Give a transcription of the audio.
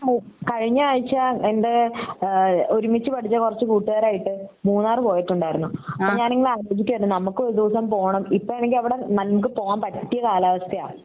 കഴിഞ്ഞ ആഴ്ച എൻ്റെ ഏഹ് ഒരുമിച്ച് പഠിച്ച കുറച്ച് കൂട്ടുകാരായിട്ട് മൂന്നാർ പോയിട്ടുണ്ടായിരുന്നു അപ്പൊ ഞാൻ ഇങ്ങനെ ആലോചിക്കുവാരുന്നു നമുക്കും ഒരു ദിവസം പോണം ഇപ്പൊ ആണെങ്കി അവിടെ നമുക്ക് പോവാൻ പറ്റിയ കാലാവസ്ഥയാ